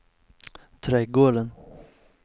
trädgården